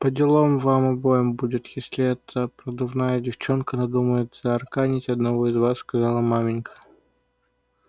поделом вам обоим будет если эта продувная девчонка надумает заарканить одного из вас сказала маменька